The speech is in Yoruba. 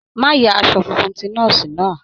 Má ya aṣọ funfun ti nọ́ọ̀sì náà.